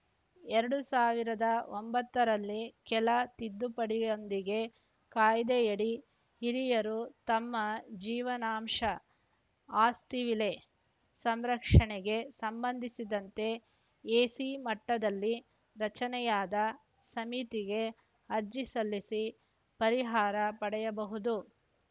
ಎರಡ್ ಸಾವಿರದ ಒಂಬತ್ತರಲ್ಲಿ ಕೆಲ ತಿದ್ದುಪಡಿಯೊಂದಿಗೆ ಕಾಯ್ದೆಯಡಿ ಹಿರಿಯರು ತಮ್ಮ ಜೀವನಾಂಶ ಆಸ್ತಿ ವಿಲೇ ಸಂರಕ್ಷಣೆಗೆ ಸಂಬಂಧಿಸಿದಂತೆ ಎಸಿ ಮಟ್ಟದಲ್ಲಿ ರಚನೆಯಾದ ಸಮಿತಿಗೆ ಅರ್ಜಿ ಸಲ್ಲಿಸಿ ಪರಿಹಾರ ಪಡೆಯಬಹುದು